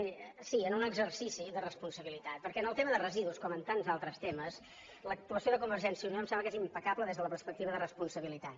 miri sí en un exercici de responsabilitat perquè en el tema de residus com en tants altres temes l’actuació de convergència i unió em sembla que és impecable des de la perspectiva de responsabilitat